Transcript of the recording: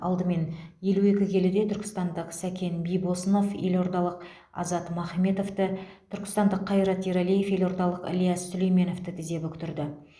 алдымен елу екі келіде түркістандық сәкен бибосынов елордалық азат махметовті түркістандық қайрат ерәлиев елордалық ілияс сүлейменовті тізе бүктірді